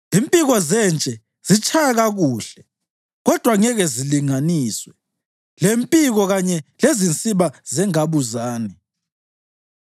Impiko zentshe zitshaya kakuhle, kodwa ngeke zilinganiswe lempiko kanye lezinsiba zengabuzane.